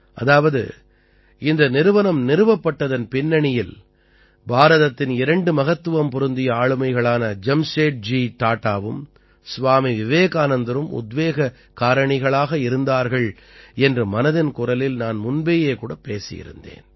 அதாவது இந்த நிறுவனம் நிறுவப்பட்டதன் பின்னணியில் பாரதத்தின் இரண்டு மகத்துவம் பொருந்திய ஆளுமைகளான ஜம்ஷேத்ஜி டாடாவும் ஸ்வாமி விவேகானந்தரும் உத்வேகக் காரணிகளாக இருந்தார்கள் என்று மனதின் குரலில் நான் முன்பேயே கூட பேசியிருந்தேன்